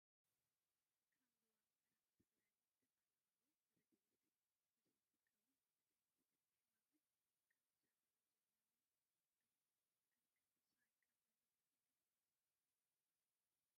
ካብ ዞባ ምዕራብ ትግራይ ዝተፈናቀሉ ሬዲኤት ብዘይምርካቦም ብጥምየትን ሕማምን ከም ዝሳቀዩ ዘለው ገሊፆም። ኣብ ከቢድ ስቃይ ከም ዘለው ትፈልጡ ዶ ?